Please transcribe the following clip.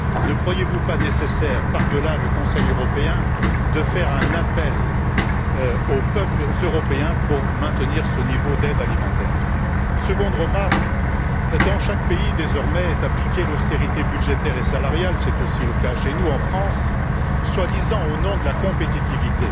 Ne croyez vous pas nécessaire, par delà le Conseil européen, de lancer un appel aux peuples européens pour que ce niveau d'aide alimentaire soit maintenu? Seconde remarque dans chaque pays désormais est appliquée l'austérité budgétaire et salariale c'est aussi le cas chez nous en France soi disant au nom de la compétitivité.